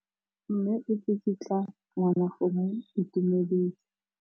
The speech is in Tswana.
Mme o tsikitla ngwana go mo itumedisa.